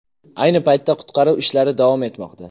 Ayni paytda qutqaruv ishlari davom etmoqda.